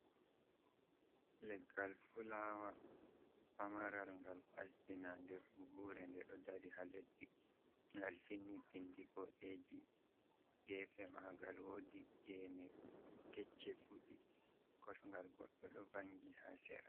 Leggal fulawa pamaral gal asbina nder buhure nde do dari ha leddi ngal finni pindi bodeji gefe magal woɗi gene gecche fudi kosgal goddo do vangi ha sera